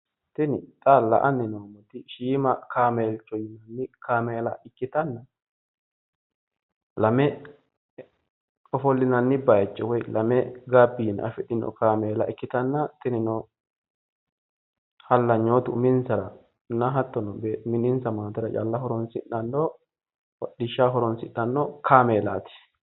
Tini xa la"anni noommoti shiima kaameelcho yinanni kaameela ikkitanna lame ofollinanni bayicho woyi lame gabbiina afidhino kameela ikkitanna tinino halanyootu uminsaranna hattono mininsa maatera calla horoonsidhanno hodhishshaho horoonsidhanno kameelaati.